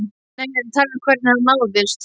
Nei, ég er að tala um hvernig hann náðist.